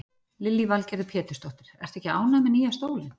Lillý Valgerður Pétursdóttir: Ertu ekki ánægð með nýja stólinn?